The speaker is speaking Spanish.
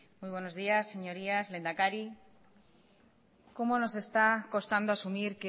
muy buenos días señorías lehendakari cómo nos está costando asumir